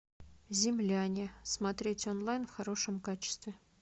земляне смотреть онлайн в хорошем качестве